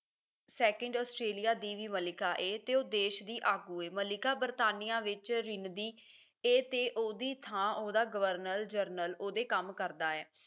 second Australia ਦੀ ਵੀ ਮਲਿਕਾ ਏ ਤੇ ਉਹ ਦੇਸ਼ ਦੀ ਆਗੂ ਏ ਮਲਿਕਾ ਬਰਤਾਨੀਆਂ ਵਿੱਚ ਰਿੰਨਦੀ ਏ ਤੇ ਉਹਦੀ ਥਾਂ ਉਹਦਾ ਗਵਰਨਰ ਜਨਰਲ ਉਹਦੇ ਕੰਮ ਕਰਦਾ ਹੈ